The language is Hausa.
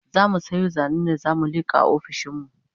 zamu Sayo zanen da zamu liƙa a ofishinmu